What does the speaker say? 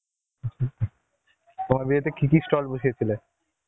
তোমার বিয়েতে কি কি stall বসিয়ে ছিলে?